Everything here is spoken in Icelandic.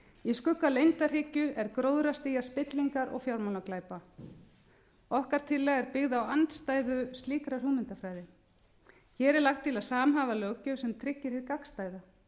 í skugga leyndarhyggju er gróðrarstía spillingar og fjármálaglæpa okkar tillaga er byggð á andstæðu slíkrar hugmyndafræði hér er lagt til að samhæfa löggjöf sem tryggir hið gagnstæða